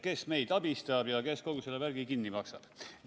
Kes meid abistab ja kes kogu selle värgi kinni maksab?